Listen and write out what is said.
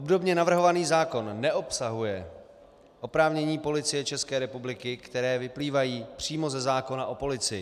Obdobně navrhovaný zákon neobsahuje oprávnění Policie České republiky, která vyplývají přímo ze zákona o policii.